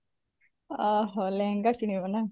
ଓଃ ହୋ ଲେହେଙ୍ଗା କିଣିବୁ ନା